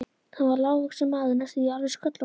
Hann var lágvaxinn maður næstum því alveg sköllóttur.